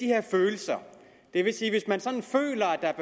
her følelser det vil sige at hvis man sådan føler at der er